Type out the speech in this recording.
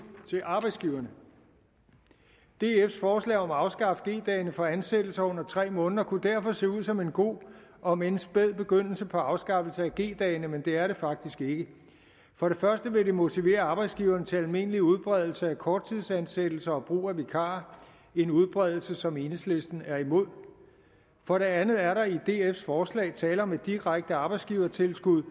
til arbejdsgiverne dfs forslag om at afskaffe g dagene for ansættelser under tre måneder kunne derfor ser ud som en god omend spæd begyndelse på afskaffelse af g dagene men det er det faktisk ikke for det første vil det motivere arbejdsgiveren til almindelig udbredelse af korttidsansættelser og brug af vikarer en udbredelse som enhedslisten er imod for det andet er der i dfs forslag tale om et direkte arbejdsgivertilskud